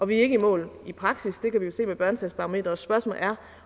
vi er ikke i mål i praksis det kan vi jo se på børnesagsbarometeret spørgsmålet er